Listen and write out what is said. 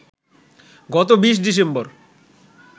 গত ২০ ডিসেম্বর